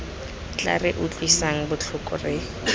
tla re utlwisang botlhoko re